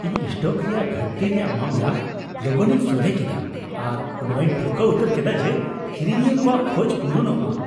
ᱤᱧ ᱥᱴᱚᱠ ᱨᱮᱭᱟᱜ ᱜᱷᱟᱹᱴᱛᱤ ᱨᱮᱭᱟᱜ ᱢᱟᱢᱞᱟ ᱞᱚᱜᱚᱱᱤᱧ ᱥᱚᱞᱦᱮ ᱠᱮᱫᱟ, ᱟᱨ ᱱᱚᱣᱟᱧ ᱴᱷᱟᱹᱣᱠᱟᱹ ᱩᱛᱟᱹᱨ ᱠᱮᱫᱟ ᱡᱮ ᱠᱤᱨᱤᱧᱤᱭᱟᱹ ᱠᱚᱣᱟᱜ ᱠᱷᱚᱡ ᱯᱩᱨᱩᱱᱚᱜ ᱢᱟ ᱾